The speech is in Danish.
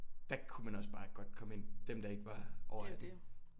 Der kunne man også bare godt komme ind dem der ikke var over 18